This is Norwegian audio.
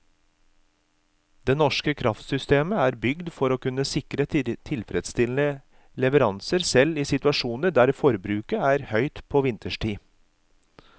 Det norske kraftsystemet er bygget for å kunne sikre tilfredsstillende leveranser selv i situasjoner der forbruket er høyt på vinterstid.